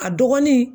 A dɔgɔnin